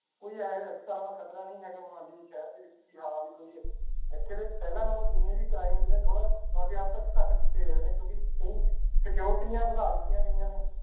ਕੋਈ ਇਹ ਜਿਹਾ ਇਸ ਤਰ੍ਹਾਂ ਦਾ ਖ਼ਤਰਾ ਨਹੀਂ ਹੈਗਾ ਮੁਹਾਲੀ ਸ਼ਹਿਰ ਦੇ ਵਿੱਚ ਕਿ ਹਾਂ ਵੀ ਕੋਈ ਇੱਥੇ ਦੇ ਪਹਿਲਾਂ ਨਾਲੋਂ ਜਿੰਨੇ ਵੀ crimes ਨੇ ਥੋੜ੍ਹਾ ਕਾਫ਼ੀ ਹੱਦ ਤੱਕ ਘੱਟ ਕੀਤੇ ਹੋਏ ਨੇ ਕਿਉਂਕਿ ਕਈ ਸਕਿਓਰਟੀਆਂ ਵਧਾ ਦਿੱਤੀਆਂ ਗਈਆਂ ਨੇ।